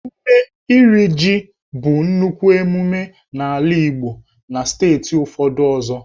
Ememme Iri jì bụ nnukwu mmemme n'ala Igbo na steeti ụfọdụ ọzọ.